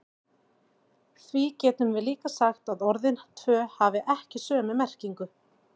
Því getum við líka sagt að orðin tvö hafi ekki sömu merkingu.